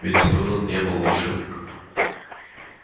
ведь сэлдон не был волшебником